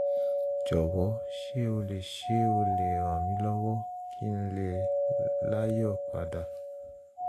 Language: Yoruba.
jọ̀wọ́ ṣé o lè ṣé o lè ràn mí lọ́wọ́ kí n lè láyọ̀ padà? um